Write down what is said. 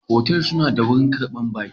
Otal suna da wurin karbar baki